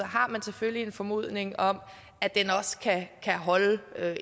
har man selvfølgelig en formodning om at den også kan holde